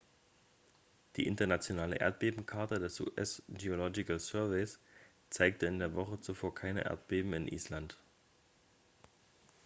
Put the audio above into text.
die internationale erdbebenkarte des us geological surveys zeigte in der woche zuvor keine erdbeben in island